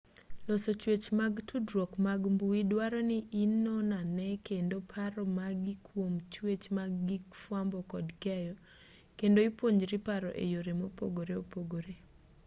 loso chwech mag tudruok mag mbui duaro ni inonane kendo paro magi kwom chwech mag gig fwambo kod keyo kendo ipuonjri paro e yore mopogore opogore